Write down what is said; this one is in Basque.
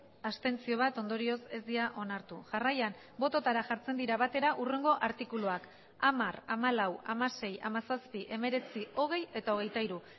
bat abstentzio ondorioz ez dira onartu jarraian bototara jartzen dira batera hurrengo artikuluak hamar hamalau hamasei hamazazpi hemeretzi hogei eta hogeita hiru